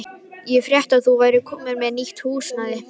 Ég frétti að þú værir komin með nýtt húsnæði.